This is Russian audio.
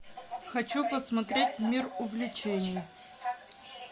хочу посмотреть мир увлечений